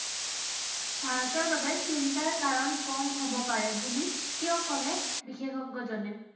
ভাৰতৰ বাবে চিন্তাৰ কাৰণ কম হব পাৰে বুলি কিয় কলে বিশেষজ্ঞজনে?